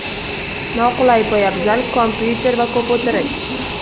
Noqulay poyabzal, kompyuter va ko‘p o‘tirish.